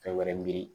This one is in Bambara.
Fɛn wɛrɛ mi